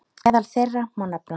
Meðal þeirra má nefna